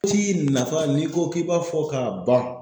Ci nafa ni ko ki b'a fɔ ka ban